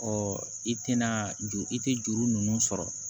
i tɛna juru i tɛ juru ninnu sɔrɔ